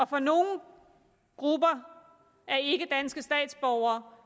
for nogle grupper af ikkedanske statsborgere